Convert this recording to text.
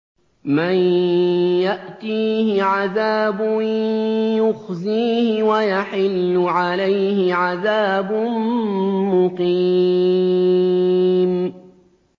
مَن يَأْتِيهِ عَذَابٌ يُخْزِيهِ وَيَحِلُّ عَلَيْهِ عَذَابٌ مُّقِيمٌ